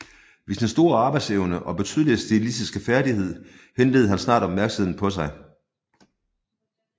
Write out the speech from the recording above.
Ved sin store arbejdsevne og betydelige stilistiske færdighed henledede han snart opmærksomheden på sig